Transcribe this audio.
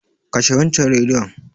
Kashe waccan Rediyon.